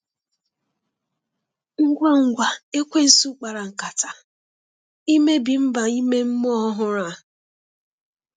Ngwa ngwa ekwensu kpara nkata imebi mba ime mmụọ ọhụrụ a.